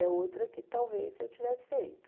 É outra que talvez eu tivesse feito.